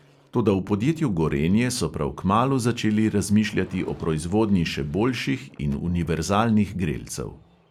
Toda v podjetju gorenje so prav kmalu začeli razmišljati o proizvodnji še boljših in univerzalnih grelcev.